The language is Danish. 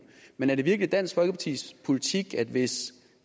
men er det virkelig dansk folkepartis politik at hvis